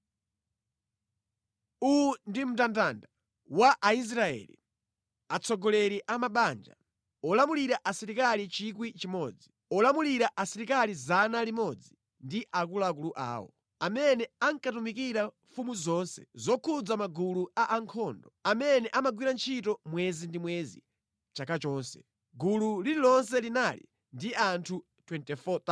Uwu ndi mndandanda wa Aisraeli, atsogoleri a mabanja, olamulira asilikali 1,000, olamulira asilikali 100 ndi akuluakulu awo, amene ankatumikira mfumu mʼzonse zokhudza magulu a ankhondo, amene amagwira ntchito mwezi ndi mwezi chaka chonse. Gulu lililonse linali ndi anthu 24,000.